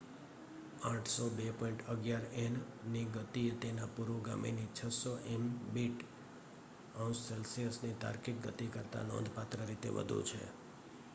802.11n ની ગતિ એ તેના પુરોગામીની 600 એમબીટ/સે. ની તાર્કિક ગતિ કરતા નોંધપાત્ર રીતે વધુ છે